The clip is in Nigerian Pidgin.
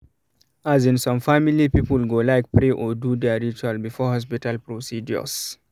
as in some family people go like pray or do their ritual before hospital procedures